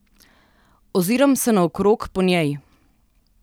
Oziram se naokrog po njej.